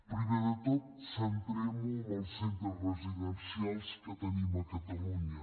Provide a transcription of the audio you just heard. primer de tot centrem ho en els centres residencials que tenim a catalunya